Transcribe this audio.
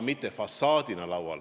Martin Helme, palun!